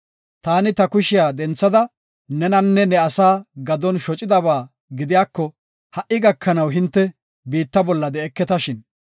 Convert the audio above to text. Taani ta kushiya denthada nenanne ne asaa gadon shocidaba gidiyako ha77i gakanaw hinte biitta bolla de7eketashin.